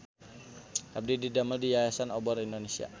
Abdi didamel di Yayasan Obor Indonesia